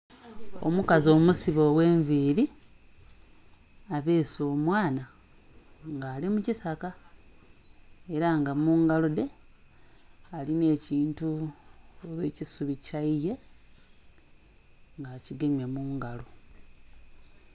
Omukazi omusibe oghenvili abeese omwaana nga ali mukisaka era nga mungalodhe alinha ekintu oba kisubi kyeeye nga akigemye mungalo.